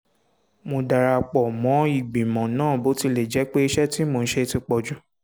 mo dara pọ̀ mọ́ ìgbìmọ̀ náà bó tilẹ̀ jẹ́ pé iṣẹ́ tí mò ń ṣe ti pọ̀ jù